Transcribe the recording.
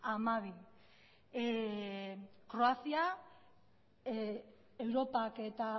hamabi kroazia europak eta